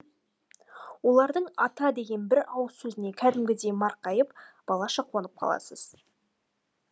олардың ата деген бір ауыз сөзіне кәдімгідей марқайып балаша қуанып қаласыз